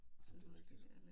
Det rigtig